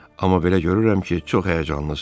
Amma belə görürəm ki, çox həyəcanlısız.